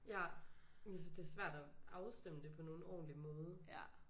Ja jeg synes det er svært at afstemme det på nogen ordentlig måde